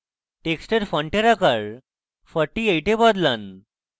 টেক্সটের ফন্টের আকার 48 এ বদলান